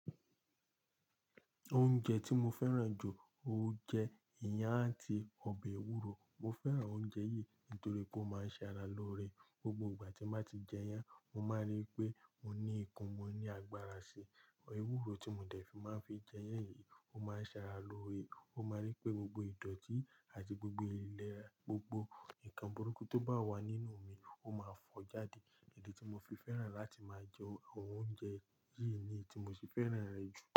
Oúnjẹ tí mo fẹ́ràn jù ó jẹ́ ìyàn àti ọbẹ̀ ewúro. Mo fẹ́ràn oúnjẹ yìí nítorí pé ó máa ń ṣe ara lóore. Gbogbo ìgbà tí n bá ti jẹ iyán, mo máa rí pé mo ní okún, mo ní agbára sí i. Ewúro tí mo dẹ̀ fi máa ń fi jẹ yanyì, ó máa ń ṣe ara lóore. Mo máa rí pé gbogbo ìdọ̀tí àti gbogbo ìlera, gbogbo nǹkan burúkú tó bá wà nínú mi, ó máa fọ́ jáde. Idi tí mo fi fẹ́ràn láti máa jẹ oúnjẹ yìí ni i tí mo fi fẹ́ràn rẹ̀ jù.